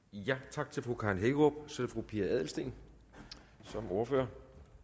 tak til fru karen hækkerup så er det fru pia adelsteen som ordfører